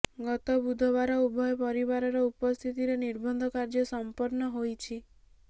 ଗତ ବୁଧବାର ଉଭୟ ପରିବାରର ଉପସ୍ଥିତିରେ ନିର୍ବନ୍ଧ କାର୍ଯ୍ୟ ସମ୍ପନ୍ନ ହୋଇଛି